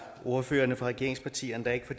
ordførerne fra regeringspartierne der ikke for